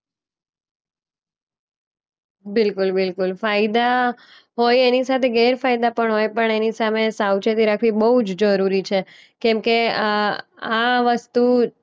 બિલકુલ બિલકુલ. ફાયદા હોય એની સાથે ગેરફાયદા પણ હોય પણ એની સામે સાવચેતી રાખવી બોઉ જ જરૂરી છે. કેમકે આ આ વસ્તુ